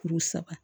Kuru saba